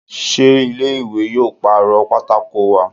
Sé ilé ìwé yóò pàrọ̀ pátákó wa?